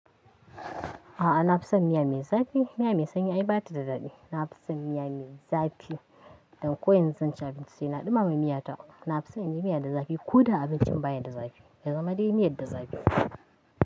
A'a, na fi son miya mai zafi. Miya mai sanyi ai bata da daɗi. Na fi son miya mai zafi don ko yanzu zan ci abinci sai na ɗumama miyata. Na fi son in yi miya da zafi ko da abincin baya da zafi ya zama dai miyar da zafi.